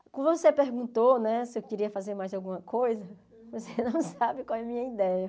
Você perguntou né se eu queria fazer mais alguma coisa, você não sabe qual é a minha ideia.